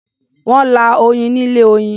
Wọ́n lá oyin ni ilé-oyin.